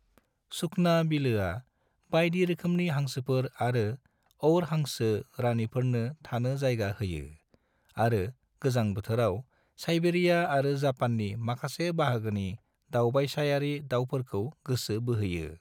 सुखना बिलोआ बायदि रोखोमनि हांसोफोर आरो और हांसो रानिफोरनो थानो जायगा होयो आरो गोजां बोथोराव साइबेरिया आरो जापाननि माखासे बाहागोनि दावबायस'यारि दावफोरखौ गोसो बोहोयो।